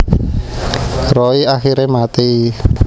Roy akhire mati